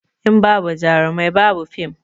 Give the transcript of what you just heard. In babu jarumai ba bu fim